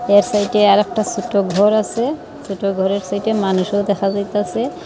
এর সাইডে আরেকটা ছুটো ঘর আসে ছোট ঘরের সাইডে মানুষও দেখা যাইতাসে।